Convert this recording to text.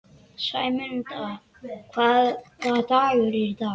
Sæmunda, hvaða dagur er í dag?